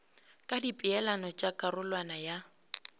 ka dipeelano tša karolwana ya